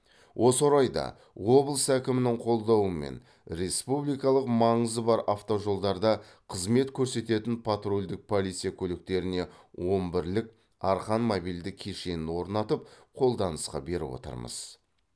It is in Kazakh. осы орайда облыс әкімінің қолдауымен республикалық маңызы бар автожолдарда қызмет көрсететін патрульдік полиция көліктеріне он бірлік арқан мобильді кешенін орнатып қолданысқа беріп отырмыз